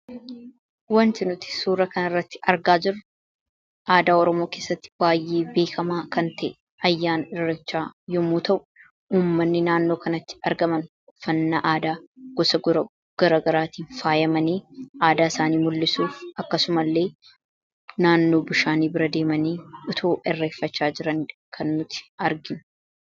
wanti nuti suura kan irratti argaa jiru aadaa ormoo keessatti baay'ee biekamaa kan ta ayyaan irrachaa yommuu ta'u uummanni naannoo kanatti argaman fannaa aadaa gosa gara garaatiin faayamanii aadaa isaanii mul'isuuf akkasuma illee naannoo bishaanii bira deemanii utuu irreeffachaa jiran kan nuti argin